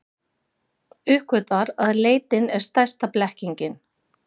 Uppgötvar að leitin er stærsta blekkingin.